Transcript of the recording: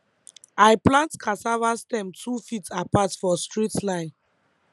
i plant cassava stem two feet apart for straight line